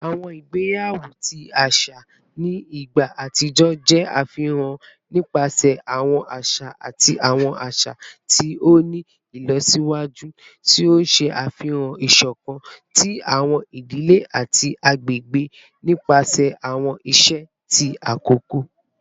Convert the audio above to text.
Awọn igbeyawo ti aṣa ni igba atijọ jẹ afihan nipasẹ awọn aṣa ati awọn aṣa ti o ni ilọsiwaju, ti o ṣe afihan isokan ti awọn idile ati agbegbe nipasẹ awọn iṣe ti akoko.